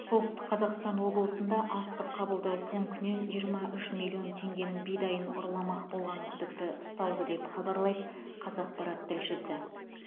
солтүстік қазақстан облысында астық қабылдау пунктінен жиырма үш миллион теңгенің бидайын ұрламақ болған күдікті ұсталды деп хабарлайды қазақпарат тілшісі